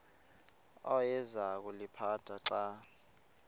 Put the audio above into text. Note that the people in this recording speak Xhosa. awayeza kuliphatha xa